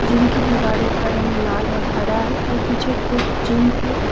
इनकी दीवारों का रंग लाल और हर है और पीछे कुछ जिम के --